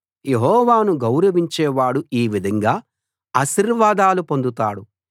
యెహోవాను గౌరవించేవాడు ఈ విధంగా ఆశీర్వాదాలు పొందుతాడు